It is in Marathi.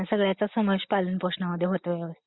हम्म! या सगळ्याच समावेश पालनपोषणामध्ये होतो व्यवस्थित